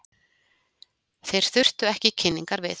Þeir þurftu ekki kynningar við.